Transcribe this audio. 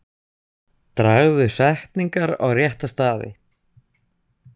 Dragðu setningar á rétta staði.